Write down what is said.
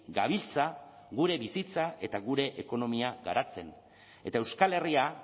gabiltza gure bizitza eta gure ekonomia garatzen eta euskal herria